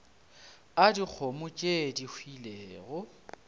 a dikgomo tše di hwilego